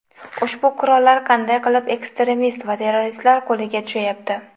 Ushbu qurollar qanday qilib ekstremist va terroristlar qo‘liga tushayapti?